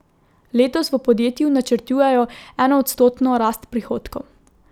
Letos v podjetju načrtujejo enoodstotno rast prihodkov.